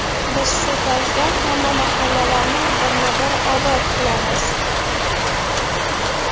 Biz shu tarzda hamma mahallalarni birma-bir obod qilamiz”.